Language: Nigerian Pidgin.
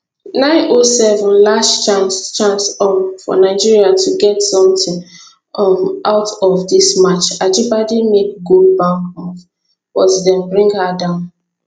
907 last chance chance um for nigeria to get something um out of dis match ajibade make goal bound move but dem bring her down